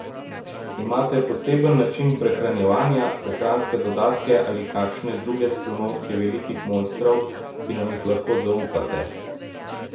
Imate poseben način prehranjevanja, prehranske dodatke ali kakšne druge skrivnosti velikih mojstrov, ki nam jih lahko zaupate?